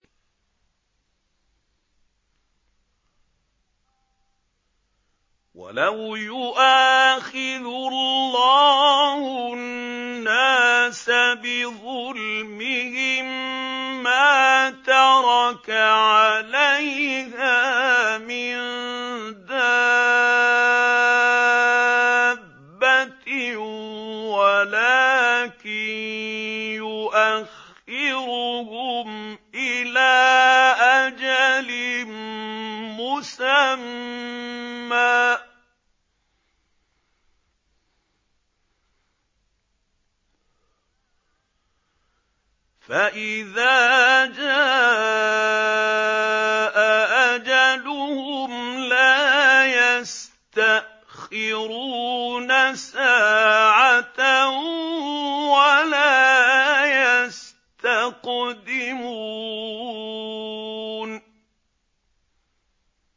وَلَوْ يُؤَاخِذُ اللَّهُ النَّاسَ بِظُلْمِهِم مَّا تَرَكَ عَلَيْهَا مِن دَابَّةٍ وَلَٰكِن يُؤَخِّرُهُمْ إِلَىٰ أَجَلٍ مُّسَمًّى ۖ فَإِذَا جَاءَ أَجَلُهُمْ لَا يَسْتَأْخِرُونَ سَاعَةً ۖ وَلَا يَسْتَقْدِمُونَ